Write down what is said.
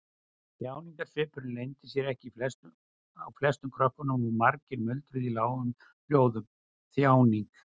Þjáningarsvipurinn leyndi sér ekki á flestum krökkunum og margir muldruðu í lágum hljóðum: Þjáning.